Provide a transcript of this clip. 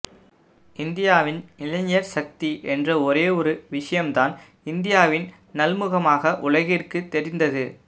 இந்தியாவின் இளைஞர் சக்தி என்ற ஒரே ஒரு விஷயம்தான் இந்தியாவின் நல்முகமாக உலகிற்குத் தெரிந்தது